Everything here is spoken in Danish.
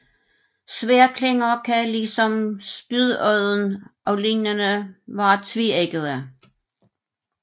Sværdklinger kan ligesom spydodden og lignende være tveæggede